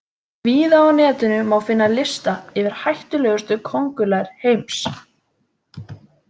Víða á Netinu má finna lista yfir hættulegustu köngulær heims.